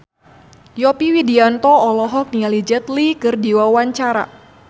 Yovie Widianto olohok ningali Jet Li keur diwawancara